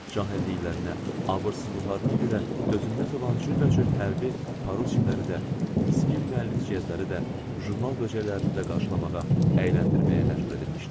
cahilliklərinə, abırsızlıqlarına görə dözülməz olan cürbəcür hərbi paroçikləri də, miskin müəllif ciyəzləri də, jurnal böcəklərini də qarşılamağa, əyləndirməyə məcbur edilmişdim.